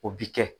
O bi kɛ